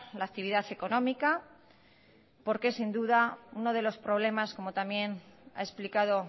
la actividad económica porque sin duda uno de los problemas como también ha explicado